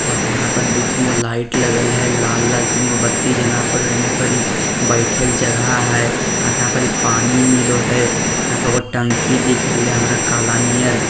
और यहाँ पर दो-तीनगो लाइट लगल है लाल-लाल तीनगो बत्ती जाना परी एने परी बइठे के जगहा है और यहाँ परी पानी मिलो है यहाँ पे एगो टंकी दिख रहले हमरा काला नियर --